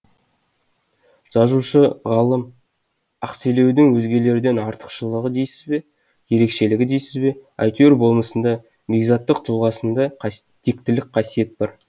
жазушы ғалым ақселеудің өзгелерден артықшылығы дейсіз бе ерекшелігі дейсіз бе әйтеуір болмысында бекзаттық тұлғасында тектілік қасиет бар